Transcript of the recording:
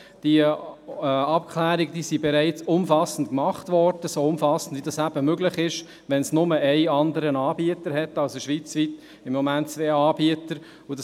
Diese Abklärungen wurden bereits umfassend gemacht, so umfassend wie dies möglich ist, wenn es schweizweit nur noch einen anderen Anbieter gibt.